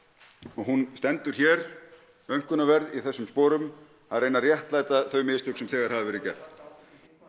og hún stendur hér aumkunarverð í þessum sporum að reyna að réttlæta þau mistök sem þegar hafi verið gerð